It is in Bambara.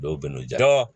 Dɔw bɛn'o di